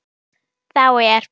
Þá er